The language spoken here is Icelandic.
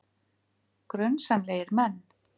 Grunsamlegir menn